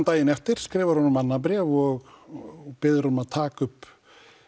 daginn eftir skrifar hann honum annað bréf og biður hann um að taka upp